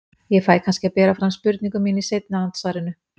Ég fæ kannski að bera fram spurningu mína í seinna andsvarinu.